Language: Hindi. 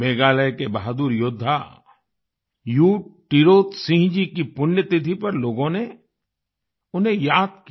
मेघालय के बहादुर योद्धा यू टिरोत सिंह जी की पुण्यतिथि पर लोगों ने उन्हें याद किया